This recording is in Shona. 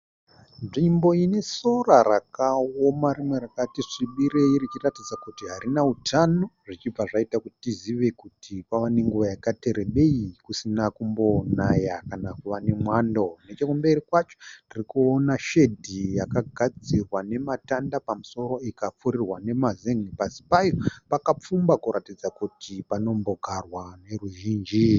Nzvimbo ine sora rakaoma rimwe rakati svibirei richiratidza kuti harina hutano zvichibva zvaita kuti tizive kuti kwava nenguva yakati rebei kusina kumbonaya kana kuva nemwando, nechekumberi kwacho tiri kuona shedi yakagadzirwa nematanda pamusoro payo ikapfirirwa nemazenge, pasi payo pakapfumba kuratidza kuti panombogarwa neruzhinji.